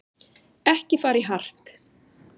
Ekki fara í hart